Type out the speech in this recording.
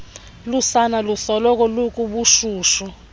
lusana lusoloko lukubushushu